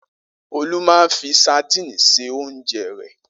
Olú máa ń fi sadínì se oúnjẹ rẹ̀.